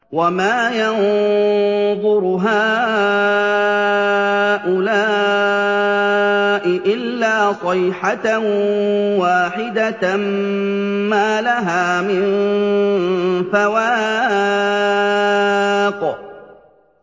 وَمَا يَنظُرُ هَٰؤُلَاءِ إِلَّا صَيْحَةً وَاحِدَةً مَّا لَهَا مِن فَوَاقٍ